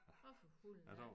Nåh for hulen da